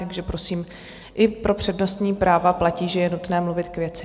Takže prosím, i pro přednostní práva platí, že je nutné mluvit k věci.